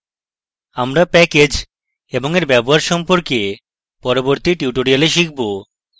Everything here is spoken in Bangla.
আমরা package এবং we ব্যবহার সম্পর্কে পরবর্তী tutorial শিখব